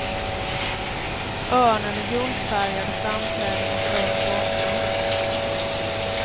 Örnen är guldfärgad och framträder mot röd bakgrund.